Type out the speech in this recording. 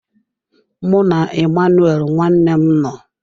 Mụ na Emmanuel nwanne m nọ.